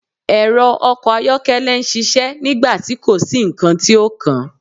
Ẹrọ ọkọ ayọkẹlẹ n ṣiṣẹ nigbati ko si nkan ti o kan